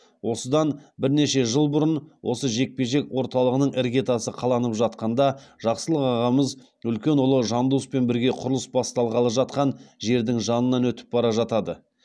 осыдан бірнеше жыл бұрын осы жекпе жек орталығының іргетасы қаланып жатқанда жақсылық ағамыз үлкен ұлы жандоспен бірге құрылыс басталғалы жатқан жердің жанынан өтіп бара жатады